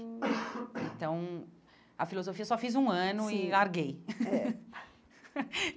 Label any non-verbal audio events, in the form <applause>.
<coughs> Então, a filosofia eu só fiz um ano sim e larguei. <laughs> Eh